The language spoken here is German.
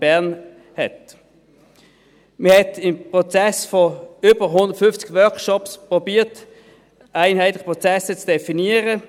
Man hat im Prozess von 150 Workshops versucht, einheitliche Prozesse zu definieren.